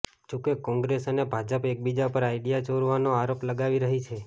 જો કે કોંગ્રેસ અને ભાજપ એકબીજા પર આઇડિયા ચોરવાનો આરોપ લગાવી રહી છે